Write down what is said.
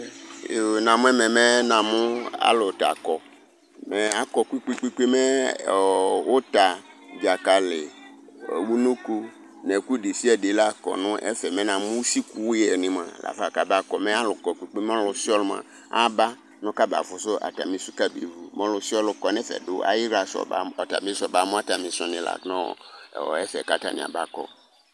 Yoo, namu ɛmɛ mɛ namu alu t'akɔ, mɛ akɔ kpe kpe kpe kpe, mɛ ɔɔ uta, dzakali, unoko n'ɛku desiade la k'ɔnu ɛfe , mɛ namu usi kuyɛ ni mua lafa mɛ alukɔ kpe kpe mɛ ɔlusiɔlu mua aba nu kaba fusu atamisu kabeʋu m'ɔlusiɔlu kɔ nɛfɛ du ayiɣla afɔba atabi afɔba mu atamisu ni la nuɔ ɔ ɛfɛ k'atani aba kɔ